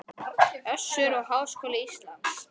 Össur og Háskóli Ísland.